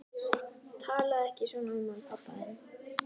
Talaðu ekki svona um hann pabba þinn.